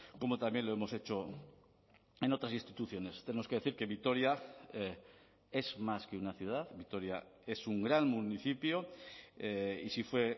como también lo hemos hecho en otras instituciones tenemos que decir que vitoria es más que una ciudad vitoria es un gran municipio y si fue